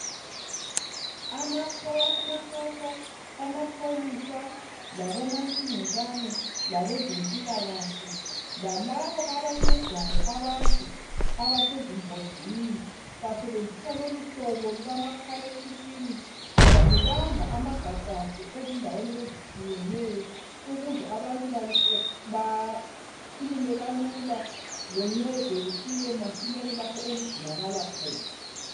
Amasotsha, amapholisa labomantshingelane, labezempilakahle , lalabo abancedayo abantu abasezingozini basebenzisa lolu hlobo lukamakhalekhukhwini ngoba lubamba amagagasi ezindaweni ezitshiyeneyo ukuze abantu bakhulume kalula loncedo lufike masinyane lapho oludingakala khona.